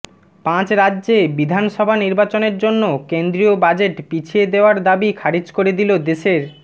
পাঁচ রাজ্যে বিধানসভা নির্বাচনের জন্য কেন্দ্রীয় বাজেট পিছিয়ে দেওয়ার দাবি খারিজ করে দিল দেশের